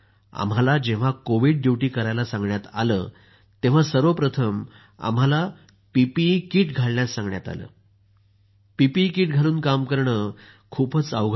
आम्हाला जेव्हा Covid duty करायला सांगण्यात आलं तेव्हा सर्वप्रथम आम्हाला पीपीई किट घालण्यास सांगण्यात आलं सर पीपीई किट घालून काम करणं खूपच अवघड आहे